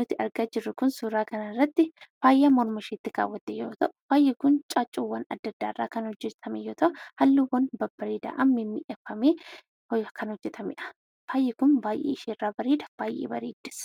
nuti argaa jirru Kun, suuraa kana irratti faayaa morma isheetti kaawwatte yoo ta'u, faayi Kun caaccuuwwan addaa addaa irraa kan hojjetamu yoo ta'u , halluuwwan babbareedaadhaan miidhagfamee kan hojjetamedha. Faayi Kun baayyee isheerraa bareeda, baayyee bareedis.